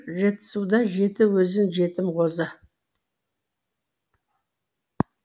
жетісуда жеті өзен жетім қозы